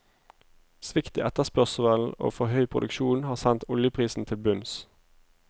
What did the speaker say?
Svikt i etterspørselen og for høy produksjon har sendt oljeprisen til bunns.